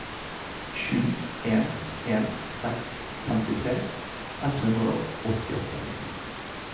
sju en en seks femtitre ett hundre og åttiåtte